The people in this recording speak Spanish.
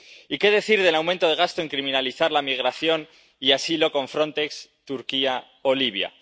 Y, ¿qué decir del aumento del gasto en criminalizar la migración y el asilo con Frontex, Turquía o Libia?